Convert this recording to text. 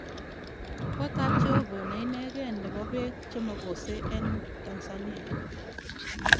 Kotab jeobo neineken nebo peek chemokose eng Tanzania